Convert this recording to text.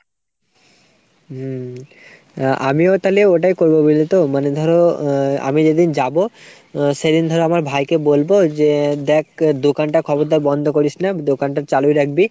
হম আমিও তালে ওটাই করবো বুঝলে তো । মানে ধরো আমি যেদিন যাবো সেদিন ধরো আমার ভাইকে বলবো যে দ্যাখ দোকানটা খবরদার বন্দ করিস না দোকানটা চালুই রাখবি।